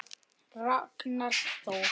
Ragnar Þór.